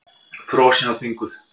Frosin og þvinguð.